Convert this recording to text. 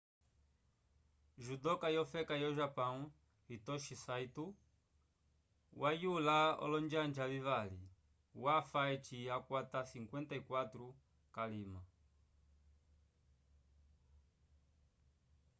judoka yofeka yo-japão hitoshi saito wayula olonjanja vivali wafa eci akwata 54 k'alima